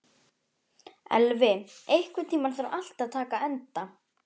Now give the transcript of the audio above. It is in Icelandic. Elvi, einhvern tímann þarf allt að taka enda.